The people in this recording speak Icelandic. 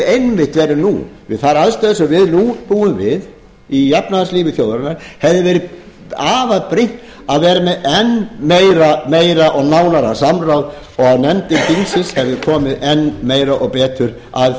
einmitt verið nú við þær aðstæður sem við nú búum við í efnahagslífi þjóðarinnar hefði verið afar brýnt að vera með enn meira og nánara samráð og nefndir þingsins hefðu komið enn meira og betur að